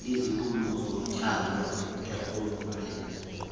iziphumo zotywala ekukhuleni